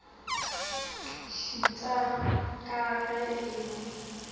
šuta ka ge e le